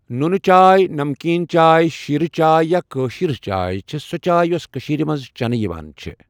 نوٗنہٕ چاے ،نَمکیٖن چاے ، شیٖرؠ چاے یا کأشِر چاے چھےٚ سۄ چاے یۄس کٔشیٖرِ مَنٛز چؠنہٕ یِوان چھےٚ